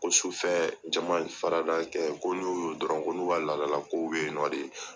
Ko sufɛ jama farada kɛ ko n'o y'o ye dɔrɔn ko n'u ka ladala kow bɛ yen nɔ.